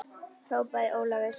hrópaði Ólafur.